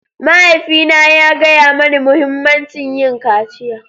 Mahaifina ya gaya mani muhimmancin yin kaciya.